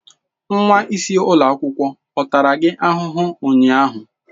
Nwa isi ụlọ akwụkwọ ọ tara gị ahụhụ ụnyaahụ?